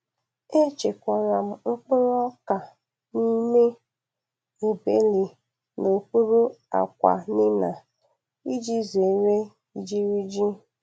E chekwara m mkpụrụ ọka n'ime ebele n'okpuru akwa nina m iji zere ijiriji.